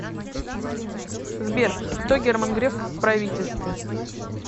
сбер кто герман греф в правительстве